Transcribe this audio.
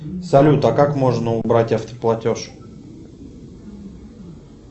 салют а как можно убрать автоплатеж